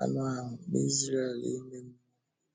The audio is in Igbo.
anụ ahụ na Ísréel ime mmụọ?